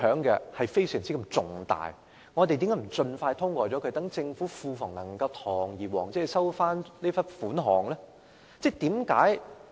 既然如此，我們為何不盡快通過《條例草案》，讓政府庫房可以堂而皇之收回這筆稅款？